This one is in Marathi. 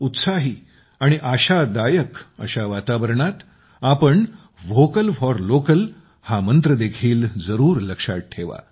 उत्साह आणि आशादायक अशा वातावरणात आपण व्होकल फोर लोकल हा मंत्र देखील जरूर लक्षात ठेवा